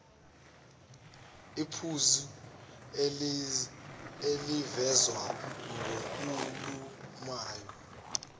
iphuzu elivezwa ngokhulumayo